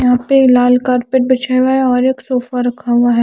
यहा पे लाल कारपेट बिछाया हुआ है और एक सोफा रखा हुआ ।